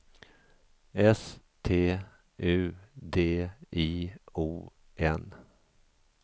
S T U D I O N